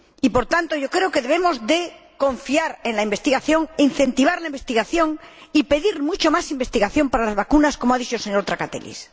por tanto, creo que debemos confiar en la investigación, incentivar la investigación y pedir mucha más investigación para las vacunas, como ha dicho el señor Trakatellis.